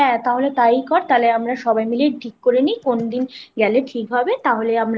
হ্যাঁ তাহলে তাই কর তাহলে আমরা সবাই মিলে ঠিক করে নি কোনদিন গেলে ঠিক হবে তাহলে আমরা আ